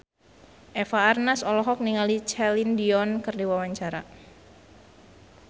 Eva Arnaz olohok ningali Celine Dion keur diwawancara